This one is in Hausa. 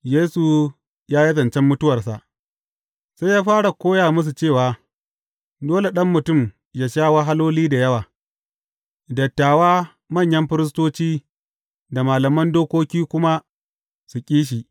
Yesu ya yi zancen mutuwarsa Sai ya fara koya musu cewa, dole Ɗan Mutum yă sha wahaloli da yawa, dattawa, manyan firistoci da malaman dokoki kuma su ƙi shi.